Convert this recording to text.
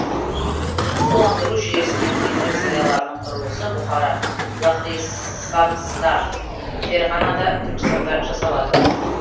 суландыру жүйесі мен керуен сарайлардың құрылысы бұхара лахрисабзда ферғанада түркістанда жасалады